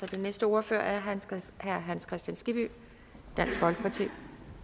den næste ordfører er herre hans kristian skibby dansk folkeparti